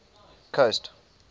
coast